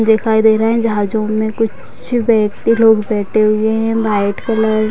दिखाई दे रहे हैं जहाजो में कुछ व्यक्ति लोग बैठे हुए है व्हाइट कलर --